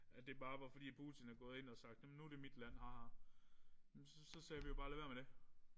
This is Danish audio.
At det bare var fordi at Putin er gået ind og sagde nu er det mit land ah ah men så så sagde vi jo bare lad være med det